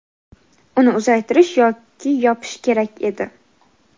uni uzaytirish yoki yopish kerak edi.